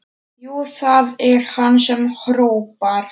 Jú, það er hann sem hrópar.